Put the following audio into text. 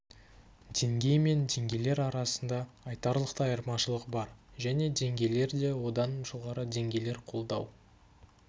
деңгей мен деңгейлер арасында айтарлықтай айырмашылық бар және деңгейлер да одан жоғары деңгейлер қолдау